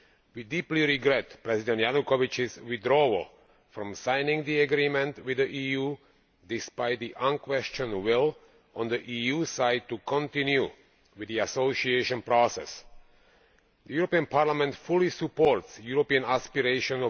We deeply regret President Yanukovych's withdrawal from signing the Agreement with the EU, despite the unquestioned will on the EU side to continue with the association process. The European Parliament fully supports Ukraine's European aspirations.